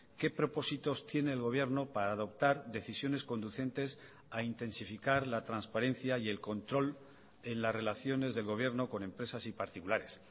qué propósitos tiene el gobierno para adoptar decisiones conducentes a intensificar la transparencia y el control en las relaciones del gobierno con empresas y particulares